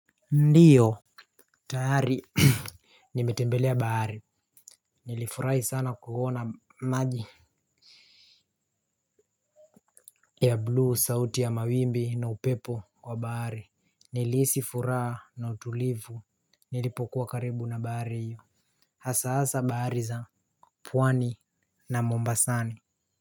Ndiyo. Tahari nimetembele ya baari nilifurai sana kuona maji. Ya blu sauti ya mawimbi na upepo kwa baari nilihisifuraa na utulivu nilipokuwa karibu na baari iyo hasahasa bahari za puwani na mombasani.